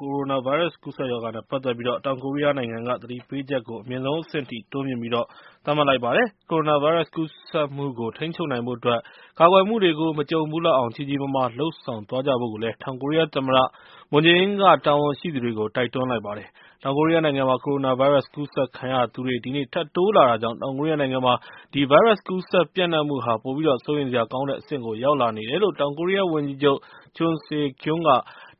ကိုရိုနာဗိုင်းရပ်စ် ကူးစက်ရောဂါနဲ့ ပတ်သက်ပြီး တောင်ကိုရီးယားနိုင်ငံက သတိပေးချက်ကို အမြင့်ဆုံးအဆင့်အထိ တိုးမြှင့်ပြီးတော့ သတ်မှတ်လိုက်ပါတယ်။ ကိုရိုနာဗိုင်းရပ်စ် ကူးစက်မှုကို ထိန်းချုပ်နိုင်ဖို့အတွက် ကာကွယ်မှုတွေကို မကြုံဘူးလောက်အောင် ကြီးကြီးမားမား လုပ်ဆောင်ကြဖို့ တောင်ကိုရီးယား သမ္မတ မွန်ဂျေအင်းက တာဝန်ရှိသူတွေကို တိုက်တွန်းလိုက်ပါတယ်။ တောင်ကိုရီးယားနိုင်ငံမှာ ကိုရိုနာဗိုင်းရပ်စ် ကူးစက်ခံရသူတွေ ဒီနေ့ ထပ်တိုးလာနေတာကြောင့် တောင်ကိုရီးယားနိုင်ငံမှာ ဒီဗိုင်းရပ်စ် ကူးစက်ပျံ့နှံ့မှုဟာ ပိုပြီး စိုးရိမ်စရာကောင်းတဲ့ အဆင့်ကို ရောက်လာနေတယ်လို့ တောင်ကိုရီးယားဝန်ကြီးချုပ် Chung Sye-Kyung က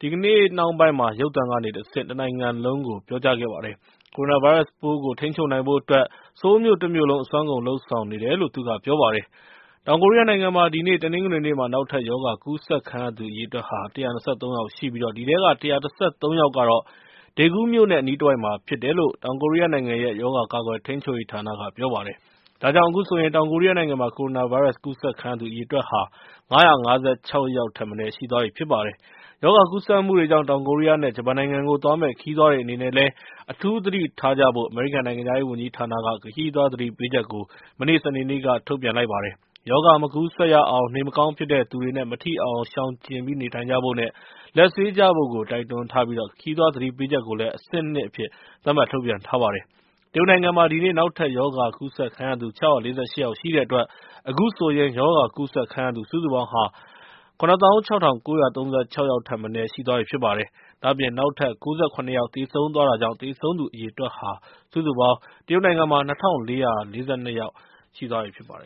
ဒီကနေ့နှောင်းပိုင်းမှာ ရုပ်သံကနေတဆင့် တနိုင်ငံလုံးကို ပြောပါတယ်။ ကိုရိုနာဗိုင်းရပ်စ်ပိုးကို ထိန်းချုပ်နိုင်ဖို့အတွက် ဆိုးလ်မြို့တမြို့လုံး အစွမ်းကုန် လုပ်ဆောင်နေတယ်လို့ သူကပြောပါတယ်။ တောင်ကိုရီးယားနိုင်ငံမှာ ဒီနေ့ တနင်္ဂနွေနေ့မှာ နောက်ထပ် ရောဂါကူးစက်ခံရသူဟာ ၁၂၃ ယောက်ရှိပြီး အဲဒီထဲက ၁၁၃ ယောက်က Daegu မြို့နဲ့ အနီးတဝိုက်မှာဖြစ်တယ်လို့ တောင်ကိုရီးယားနိုင်ငံရဲ့ ရောဂါကာကွယ်ထိန်းချုပ်ရေးဌာနက ပြောပါတယ်။ ဒါကြောင့် အခုဆိုရင် တောင်ကိုရီးယားနိုင်ငံမှာ ကိုရိုနာဗိုင်းရပ်စ် ကူးစက်ခံရသူ အရေအတွက်ဟာ ၅၅၆ ယောက်ရှိသွားပြီ ဖြစ်ပါတယ်။ ရောဂါကူးစက်မှုတွေကြောင့် တောင်ကိုရီးယားနဲ့ ဂျပန်နိုင်ငံကို သွားမယ့် ခရီးသွားတွေအနေနဲ့ အထူးသတိထားဖို့ အမေရိကန် နိုင်ငံခြားရေးဝန်ကြီးဌာနက ခရီးသွားသတိပေးချက် စနေနေ့က ထုတ်ပြန်လိုက်ပါတယ်။ ရောဂါမကူးစက်ရအောင် နေမကောင်းဖြစ်တဲ့သူတွေနဲ့ မထိအောင် ရှောင်ကြဉ်ဖို့နဲ့ လက်ဆေးကြဖို့ တိုက်တွန်းထားပြီး ခရီးသွားသတိပေးချက်ကို အဆင့် ၂ အဖြစ် သတ်မှတ်ထုတ်ပြန်ထားပါတယ်။ တရုတ်နိုင်ငံမှာတော့ ဒီနေ့မှာ နောက်ထပ်ရောဂါကူးစက်ခံရသူ ၆၄၈ ယောက်ရှိတဲ့အတွက် အခုဆိုရင် ရောဂါကူးစက်ခံရသူ အရေအတွက် စုစုပေါင်းဟာ ၇၆၉၃၆ ယောက်ရှိသွားပြီ ဖြစ်ပါတယ်။ ဒါ့အပြင် နောက်ထပ် ၉၇ ယောက် သေဆုံးသွားတာကြောင့် တရုတ်နိုင်ငံမှာ သေဆုံးသူ အရေအတွက် စုစုပေါင်း ၂၄၄၂ ယောက် ရှိသွားပြီဖြစ်ပါတယ်